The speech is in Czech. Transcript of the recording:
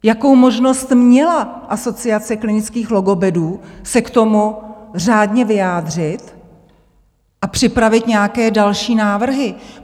Jakou možnost měla Asociace klinických logopedů se k tomu řádně vyjádřit a připravit nějaké další návrhy.